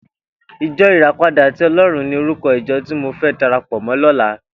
Ijò iràpádà ti Òlòrún ni órúkò ijò ti mó fè dàrápò mò lòlá